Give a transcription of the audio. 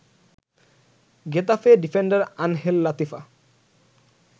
Getafe defender Angel Latifa